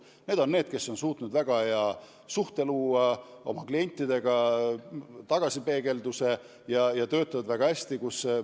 Need on bürood, kes on suutnud luua väga head suhted oma klientidega ja töötavad väga hästi.